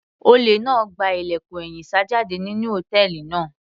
Olè náà gba ilẹ̀kùn ẹ̀yìn sá jáde nínú hòtẹ́ẹ̀lì náà.